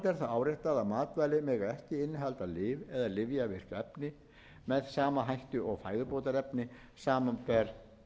áréttað að matvæli mega ekki innihalda lyf eða lyfjavirk efni með sama hætti og fæðubótarefni samanber